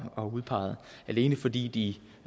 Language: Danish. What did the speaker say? og udpeget alene fordi de